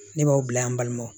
Ne b'aw bila yan an balimaw